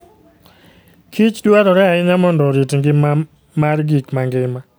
kich dwarore ahinya mondo orit ngima mar gik mangima.